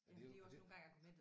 Og det er jo og det